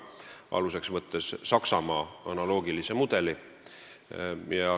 Selle süsteemi aluseks on võetud Saksamaa analoogiline mudel.